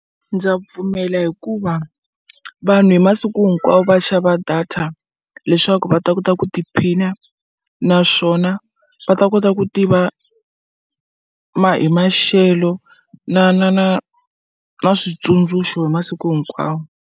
Ndza pfumela hikuva vanhu hi masiku hinkwawo va xava data leswaku va ta kota ku tiphina naswona va ta kota ku tiva ma hi maxelo na na na na switsundzuxo hi masiku hinkwawo.